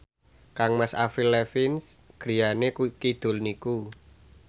kangmas Avril Lavigne griyane kidul niku